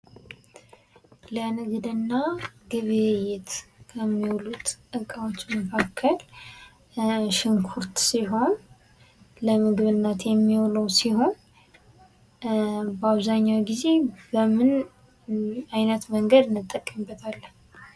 ለንግድ እና ግብይት ከሚውሉት እቃዎች መካከል ሽንኩርት ሲሆን ለምግብነት የሚውለው ሲሆን በአብዛኛው ጊዜ በምን አይነት መንገድ እንጠቀምበታለን?